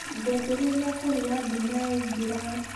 Ngwambĩrĩria kũruga nduma yaingĩra.